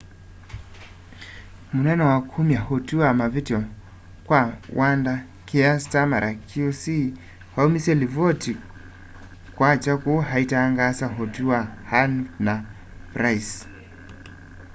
munene wa kumya utwi wa mavityo kwa wanda kier starmer qc aumisye livoti kwakya kuu aitangaasa utwi wa huhne na pryce